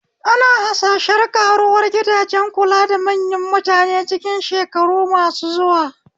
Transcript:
Ana harsashen ƙaruwar gidajen kula da manyan mutane cikin shekaru masu zuwa.